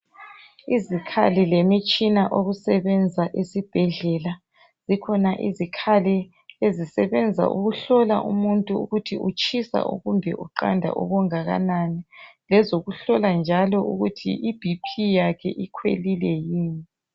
Izikhali lemitshina okusebenza esibhedlela zikhona izikhali ezisebenza ukuhlola umuntu ukuthi utshisa kumbe uqanda okunganani lezokuhlola njalo ukuthi iBP yakhe ikhwelile yini.